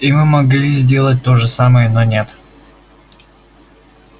и мы могли сделать то же самое но нет